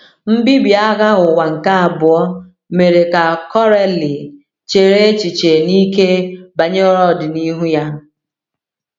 Mbibi Agha Ụwa nke Abụọ mere ka Coralie chere echiche n’ike banyere ọdịnihu ya.